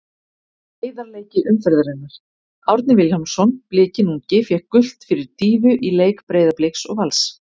Heiðarleiki umferðarinnar: Árni Vilhjálmsson Blikinn ungi fékk gult fyrir dýfu í leik Breiðabliks og Vals.